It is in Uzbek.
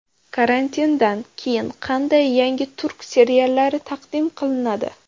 Karantindan keyin qanday yangi turk seriallari taqdim qilinadi?.